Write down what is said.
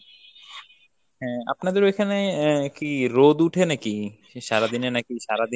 হ্যাঁ। আপনাদের ঐখানে আহ কি রোদ উঠে নাকি সারাদিনে? নাকি সারাদিন